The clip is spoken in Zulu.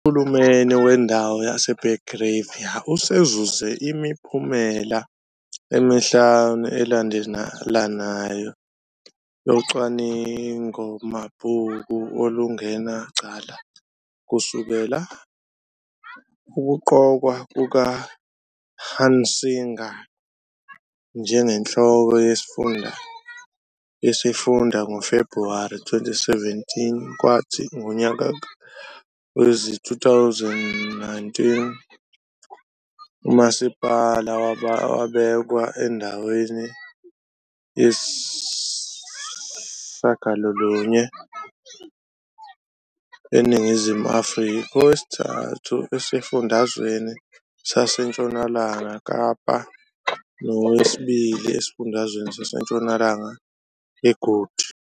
UHulumeni Wendawo yaseBergrivier usezuze imiphumela emihlanu elandelanayo yocwaningomabhuku olungenacala kusukela ukuqokwa kukaHunsinger njengenhloko yesifunda ngoFebhuwari 2017 kwathi ngonyaka wezi-2019 umasipala wabekwa endaweni yesi-8 eNingizimu Afrika, owesi-3 esifundazweni saseNtshonalanga Kapa, nowesibili esifundeni saseNtshonalanga eGood